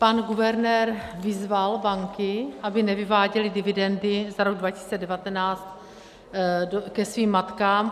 Pan guvernér vyzval banky, aby nevyváděly dividendy za rok 2019 ke svým matkám.